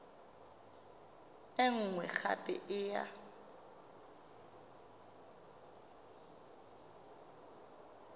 e nngwe gape e ya